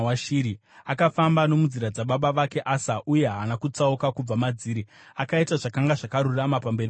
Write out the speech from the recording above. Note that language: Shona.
Akafamba nomunzira dzababa vake Asa uye haana kutsauka kubva madziri; akaita zvakanga zvakarurama pamberi paJehovha.